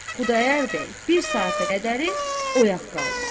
Xudayar bəy bir saata qədəri oyaq qaldı.